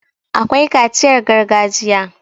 akwai kaciyar gargajiya